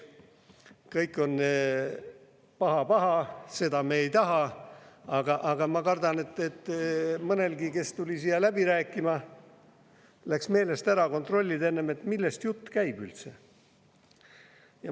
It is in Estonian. Kõik on paha-paha, seda me ei taha, aga ma kardan, et mõnelgi, kes tuli siia läbi rääkima, läks meelest ära enne kontrollida, millest jutt käib üldse.